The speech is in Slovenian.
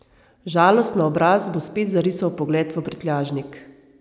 Žalost na obraz bo spet zarisal pogled v prtljažnik.